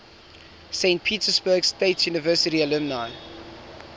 saint petersburg state university alumni